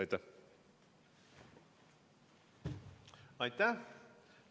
Aitäh!